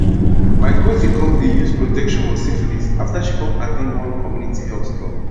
my cousin come the use protection for syphilis after she come at ten d one community health talk